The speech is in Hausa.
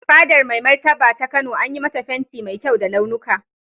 Fadar Mai Martaba ta Kano an yi mata fenti mai kyau da launuka.